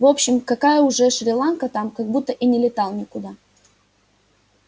в общем какая уже шри-ланка там как будто и не летал никуда